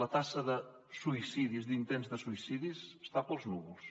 la taxa de suïcidis d’intents de suïcidi està pels núvols